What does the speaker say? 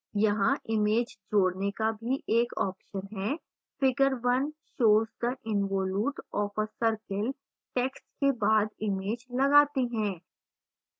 यहाँ image जोडने का भी एक option है figure 1 shows the involute of a circle text के बाद image लगाते हैं